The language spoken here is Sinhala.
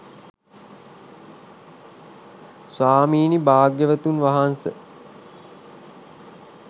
ස්වාමීනී භාග්‍යවතුන් වහන්ස